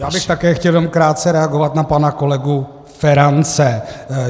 Já bych také chtěl jenom krátce reagovat na pana kolegu Ferance.